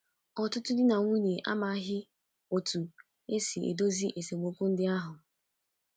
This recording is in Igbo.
Ọtụtụ di na nwunye amaghị otú e si edozi esemokwu ndị ahụ..